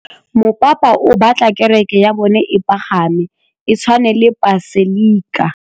Mopapa o batla kereke ya bone e pagame, e tshwane le paselika.